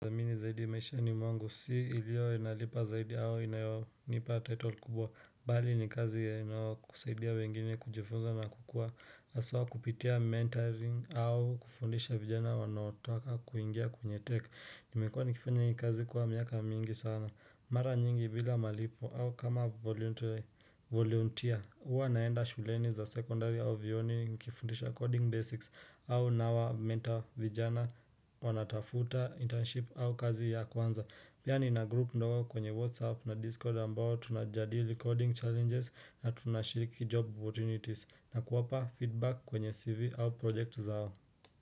Zamini zaidi maishani mwangu, si iliyo inalipa zaidi au inayonipa title kubwa Bali ni kazi inayokusaidia wengine kujifunza na kukua hasawa kupitia mentoring au kufundisha vijana wanaotoka kuingia kwenye tech Nimekua nikifanya hii kazi kwa miaka mingi sana Mara nyingi bila malipo au kama voluntar yVolunteer, huwa naenda shuleni za secondary au vyuoni nikifundisha coding basics au nawamentor vijana wanatafuta internship au kazi ya kwanza Pia nina group ndogo kwenye whatsapp na discord ambao tunajadili coding challenges na tunashiriki job opportunities nakuwapa feedback kwenye CV au project zao.